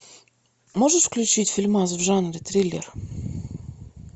можешь включить фильмас в жанре триллер